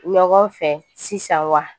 Ɲɔgɔn fɛ sisan wa